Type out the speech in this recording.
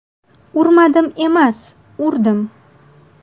Urmadim emas, urdim.